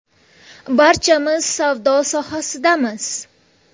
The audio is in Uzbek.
Barchamiz savdo sohasidamiz.